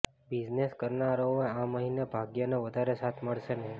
business કરનારાઓને આ મહિને ભાગ્યનો વધારે સાથ મળશે નહી